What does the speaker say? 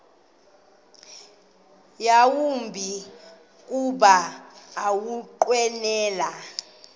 yawumbi kuba ukunqwenela